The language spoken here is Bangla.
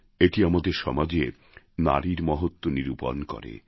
এটি আমাদের সমাজে নারীর মহত্ত্ব নিরূপণ করে